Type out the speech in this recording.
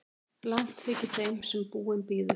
Langt þykir þeim sem búinn bíður.